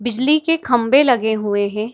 बिजली के खम्भे लगे हुए है।